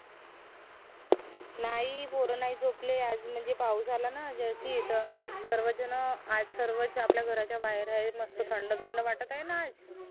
नाई पोर नाई झोपले आज म्हनजे पाऊस आला न जास्ती त सर्व झन आज सर्वच आपल्या घराच्या बाहेर आहेत मस्त थंड थंड वाटत आहे न आज